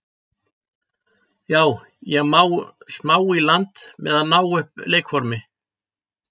Já ég á smá í land með að ná upp leikformi.